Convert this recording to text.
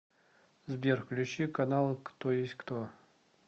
сбер включи канал кто есть кто